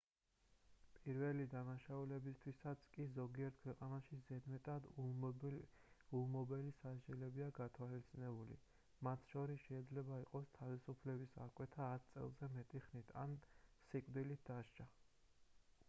პირველი დანაშაულებისთვისაც კი ზოგიერთ ქვეყანაში ზედმეტად ულმობელი სასჯელებია გათვალისწინებული მათ შორის შეიძლება იყოს თავისუფლების აღკვეთა 10 წელზე მეტი ხნით ან სიკვდილით დასჯა